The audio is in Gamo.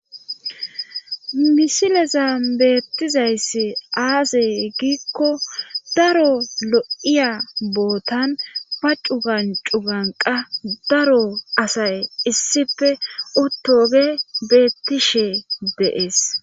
Misileza beettizayssi aasey giikko daro lo7iya bootan paccu gancu ganqa daro asay issife uttooge beettishe deees.